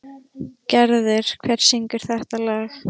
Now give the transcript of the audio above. Gerður, hver syngur þetta lag?